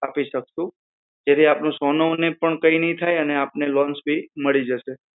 આપી શકશુ જેથી સોનુ ને પણ કઈ નઈ થાય અને loan પણ મળી જશે